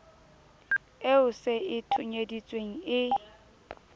eo se e thonyeditsweng e